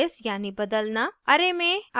* array में अवयव जोड़ना और